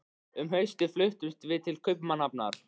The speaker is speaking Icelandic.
Um haustið fluttumst við til Kaupmannahafnar.